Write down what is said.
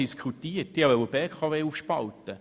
Ich möchte einige Informationen bekanntgeben.